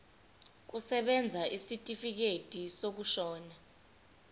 kusebenza isitifikedi sokushona